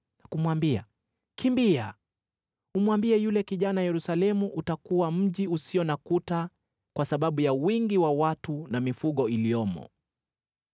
na kumwambia: “Kimbia, umwambie yule kijana, ‘Yerusalemu utakuwa mji usio na kuta kwa sababu ya wingi wa watu na mifugo iliyomo.